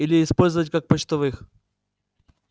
или использовать как почтовых